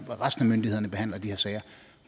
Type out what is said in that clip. resten af myndighederne behandler de her sager